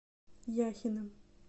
яхиным